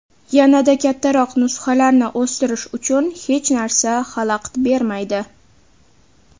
Yanada kattaroq nusxalarni o‘stirish uchun hech narsa xalaqit bermaydi.